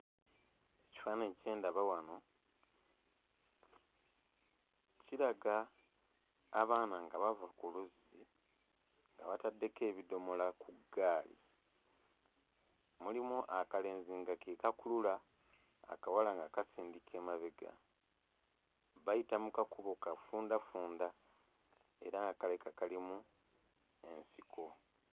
Ekifaananyi kye ndaba wano kiraga abaana nga bava ku luzzi nga bataddeko ebidomola ku ggaali. Mulimu akalenzi nga ke kakulula, akawala nga kasindika emabega. Bayita mu kakubo kafundafunda era nga kalabika kalimu nsiko.